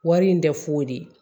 Wari in tɛ foyi de ye